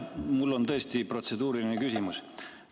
Mul on tõesti protseduuriline küsimus.